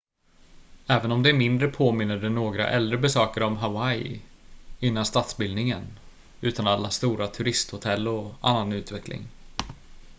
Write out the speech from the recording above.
även om det är mindre påminner det några äldre besökare om hawaii innan statsbildningen utan alla stora turisthotell och annan utveckling